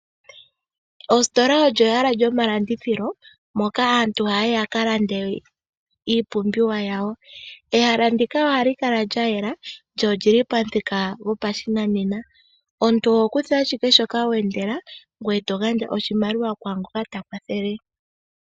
Ositola olyo ehala lyomalandithilo moka aantu haya yi ya ka lande iipumbiwa yawo. Ehala ndika ohali kala lya yela, lyo oli li pamuthika gopashinanena. Omuntu oho kutha ashike shoka we endela, ngoye to gandja oshimaliwa kwaa ngoka ta kwathele.